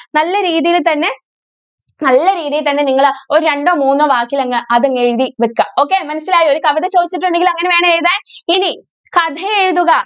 നല്ല രീതിയിൽ തന്നെ നല്ല രീതിയിൽ തന്നെ നിങ്ങൾ ഒരു രണ്ടോ മൂന്നോ വാക്കിൽ അങ്ങ് അത് എഴുതി വെക്കുക okay മനസ്സിലായോ ഒരു കവിത ചോദിച്ചിട്ടുണ്ടെങ്കിൽ അങ്ങനെ വേണം എഴുതാൻ. ഇനി കഥയെഴുതുക.